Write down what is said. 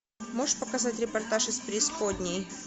можешь показать репортаж из преисподней